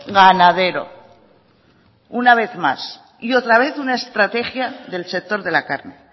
ganadero una vez más y otra vez una estrategia del sector de la carne